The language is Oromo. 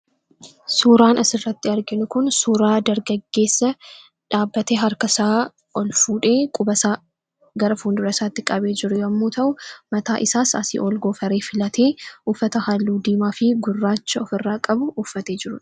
Suuraan asirratti argaa jirru kun suuraa dargaggeessa quba harka isaa gara fuuldura isaatti qabee jiru yoo ta'u, mataa isaas goofaree filatee uffata diimaa fi gurraacha ofirraa qabu uffatee jirudha.